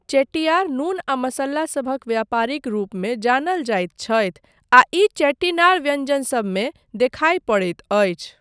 चेट्टियार नून आ मसल्ला सभक व्यापारीक रूपमे जानल जाइत छथि आ ई चेट्टीनाड व्यञ्जनसबमे देखाय पड़ैत अछि।